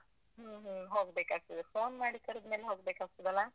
ಹ್ಮ್ ಹ್ಮ್, ಹೋಗ್ಬೇಕಾಗ್ತದೆ. phone ಮಾಡಿ ಕರದ್ ಮೇಲೆ ಹೋಗ್ಬೇಕಾಗ್ತದಲ್ಲಾ?